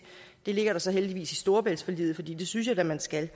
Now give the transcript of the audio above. det ligger der så heldigvis i storebæltsforliget for det synes jeg da man skal